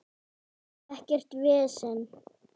Ekkert vesen.